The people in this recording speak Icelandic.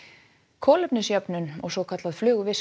kolefnisjöfnun og svokallað